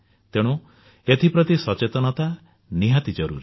ତେଣୁ ଏଥିପ୍ରତି ସଚେତନତା ନିହାତି ଜରୁରୀ